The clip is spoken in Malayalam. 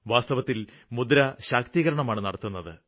വാസ്തവത്തില് മുദ്ര ശാക്തീകരണമാണ് നടത്തുന്നത്